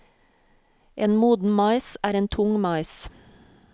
En moden mais er en tung mais.